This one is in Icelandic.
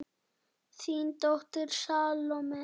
Þín dóttir, Salome.